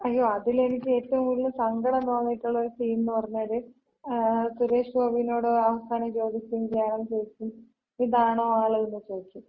അയ്യോ അതില് എനിക്ക് ഏറ്റവും കൂടുതല് സങ്കടം തോന്നിട്ടൊള്ളര് സീൻന്ന് പറഞ്ഞാല്, ങ്ങാ ,സുരേഷ് ഗോപിനോട് അവസാനം ചോദിക്കും, ജയറാം ചോദിക്കും ഇതാണോ ആളെന്ന് ചോദിക്കും.